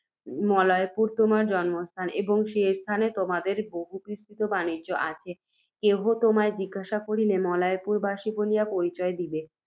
মলয়পুর তোমার জন্মস্থান, এবং সে স্থানে তোমাদের বহুবিস্তৃত বাণিজ্য আছে, কেহ তোমায় জিজ্ঞাসা করিলে, মলয়পুরবাসী বলিয়া পরিচয় দিবে।